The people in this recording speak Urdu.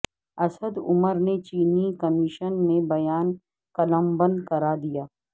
اسد عمر نے چینی کمیشن میں بیان قلمبند کرادیا